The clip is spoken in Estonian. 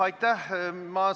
Aitäh!